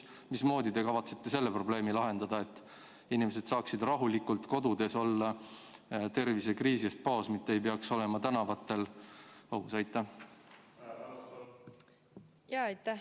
Mismoodi te kavatsete selle probleemi lahendada ja teha nii, et inimesed saaksid rahulikult olla kodus, tervisekriisi eest paos, mitte ei peaks olema tänavatel?